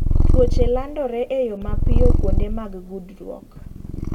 Tuoche landore eyo mapiyo kuonde mag gudruok.